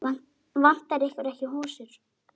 Vantar ykkur ekki hosur?